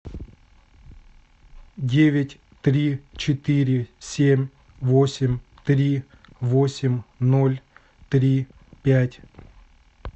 девять три четыре семь восемь три восемь ноль три пять